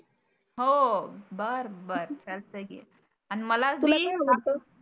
हो बरं बरं चालतय की. अन मला